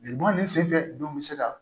Lebu ni sefɛ dun bi se ka